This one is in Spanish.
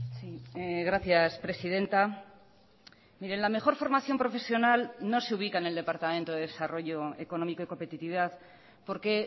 sí gracias presidenta miren la mejor formación profesional no se ubica en el departamento de desarrollo económico y competitividad porque